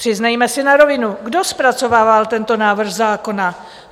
Přiznejme si na rovinu, kdo zpracovával tento návrh zákona?